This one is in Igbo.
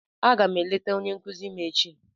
Aga m eleta onye nkuzi m echi.